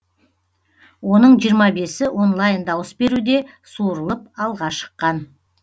оның жиырма бесі онлайн дауыс беруде суырылып алға шыққан